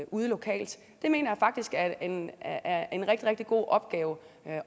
ude lokalt det mener jeg faktisk er en er en rigtig rigtig god opgave